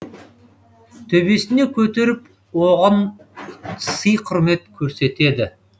төбесіне көтеріп оған сый құрмет көрсетеді